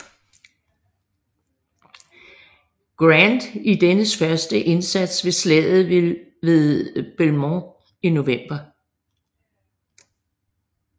Grant i dennes første indsats ved Slaget ved Belmont i november